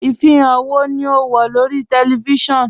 Ifihan wọ́ ni o n wọ lórí tẹlifísiọnu?